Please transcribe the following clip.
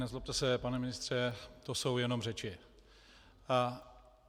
Nezlobte se, pane ministře, to jsou jenom řeči.